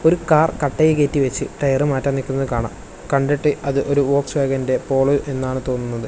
ഒരു കാർ കട്ടയിൽ കയറ്റി വെച്ച് ടയർ മാറ്റാൻ നിക്കുന്നത് കാണാം കണ്ടിട്ട് അത് ഒരു വോക്സ്വാഗണിൻ്റെ പോളോ എന്നാണ് തോന്നുന്നത്.